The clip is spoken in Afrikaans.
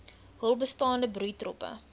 hul bestaande broeitroppe